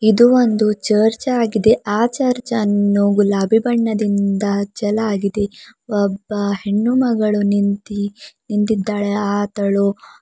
ಇದು ಒಂದು ಚರ್ಚ್ ಆಗಿದೆ ಆ ಚರ್ಚ್ ಅನ್ನು ಗುಲಾಬಿ ಬಣ್ಣದಿಂದ ಅಚ್ಚಲಾಗಿದೆ ಒಬ್ಬ ಹೆಣ್ಣು ಮಗಳು ನಿಂತಿ ನಿಂತಿದ್ದಾಳೆ ಆತಳು--